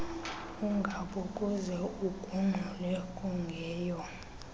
ungabokuze ugungxule kungeyo